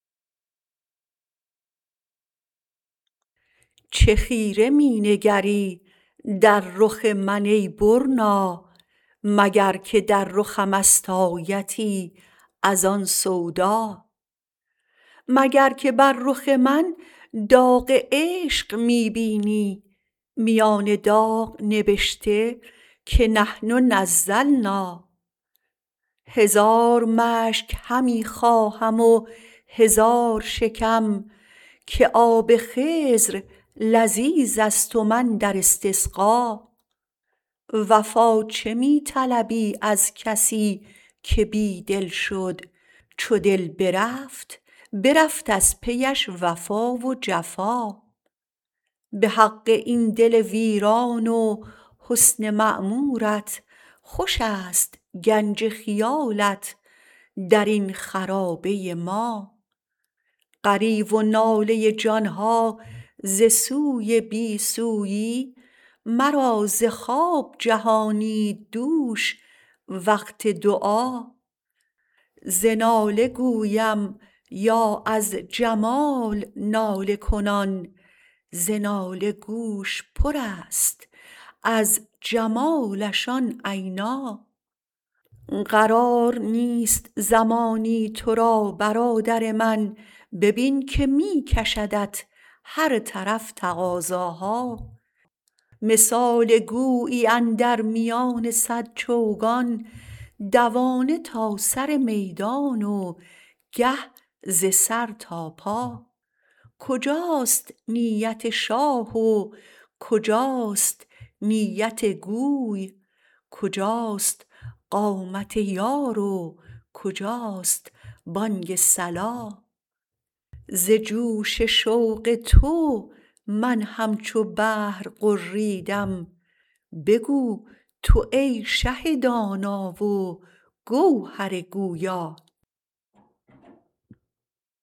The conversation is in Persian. چه خیره می نگری در رخ من ای برنا مگر که در رخمست آیتی از آن سودا مگر که بر رخ من داغ عشق می بینی میان داغ نبشته که نحن نزلنا هزار مشک همی خواهم و هزار شکم که آب خضر لذیذست و من در استسقا وفا چه می طلبی از کسی که بی دل شد چو دل برفت برفت از پیش وفا و جفا به حق این دل ویران و حسن معمورت خوش است گنج خیالت در این خرابه ما غریو و ناله جان ها ز سوی بی سویی مرا ز خواب جهانید دوش وقت دعا ز ناله گویم یا از جمال ناله کنان ز ناله گوش پرست از جمالش آن عینا قرار نیست زمانی تو را برادر من ببین که می کشدت هر طرف تقاضاها مثال گویی اندر میان صد چوگان دوانه تا سر میدان و گه ز سر تا پا کجاست نیت شاه و کجاست نیت گوی کجاست قامت یار و کجاست بانگ صلا ز جوش شوق تو من همچو بحر غریدم بگو تو ای شه دانا و گوهر دریا